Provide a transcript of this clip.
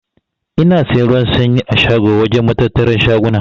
Ina siyan ruwan sanyi a shago wajen matattaran shaguna.